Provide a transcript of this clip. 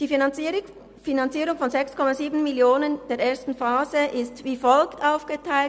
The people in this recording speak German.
Die Finanzierung von 6,7 Mio. Franken der ersten Phase ist wie folgt aufgeteilt: